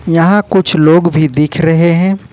यहां कुछ लोग भी दिख रहे हैं।